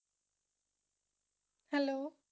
hello